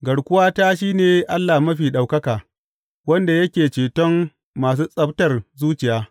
Garkuwata shi ne Allah Mafi Ɗaukaka, wanda yake ceton masu tsabtar zuciya.